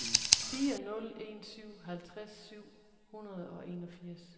fire nul en syv halvtreds syv hundrede og enogfirs